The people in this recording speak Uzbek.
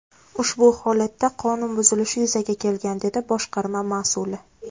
Ushbu holatda qonun buzilishi yuzaga kelgan”, dedi boshqarma mas’uli.